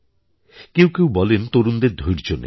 কেউ কেউ বলেন তরুণদের ধৈর্য্য নেই